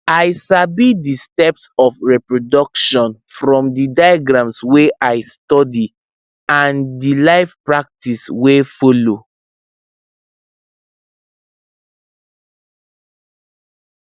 i sabi the steps of reproduction from the diagrams wey i study and the live practice wey follow